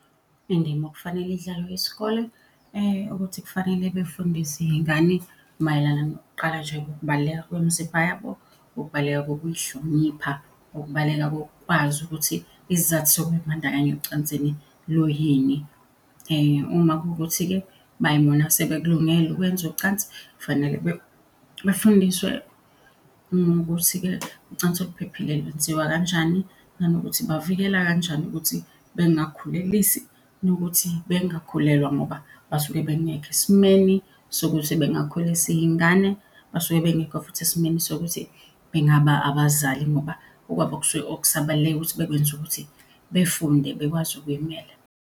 Indima okufanele idlalwe isikole ukuthi kufanele befundise iy'ngane mayelana nokuqala nje kokubaluleka kwemizimba yabo, kokubaluleka kokuy'hlonipha, kokubaluleka kokwazi ukuthi isizathu sokuy'bandakanya ocansini luyini. Uma kuwukuthi-ke bayibona sebekulungele ukwenza ucansi, fanele befundiswe ukuthi-ke ucansi oluphephile lwenziwa kanjani. Nanokuthi bavikela kanjani ukuthi bengakhulelisi, nokuthi bengakhulelwa ngoba basuke bengekho esimeni sokuthi bengakhulisa iy'ngane, basuke bengekho futhi esimeni sokuthi bengaba abazali ngoba okwabo okusabaleke ukuthi bekwenze ukuthi befunde, bekwazi ukuy'mela.